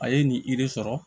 A ye nin yiri sɔrɔ